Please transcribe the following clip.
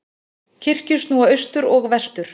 Kirkjur snúa austur og vestur.